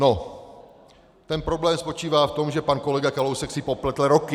No, ten problém spočívá v tom, že pan kolega Kalousek si popletl roky.